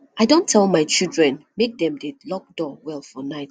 i don tell my children make dem dey lock door well for night